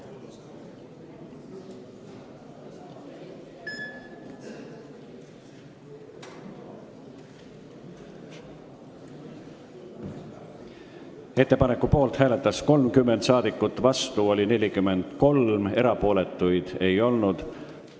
Hääletustulemused Ettepaneku poolt hääletas 30 rahvasaadikut, vastu oli 43, erapooletuid ei olnud.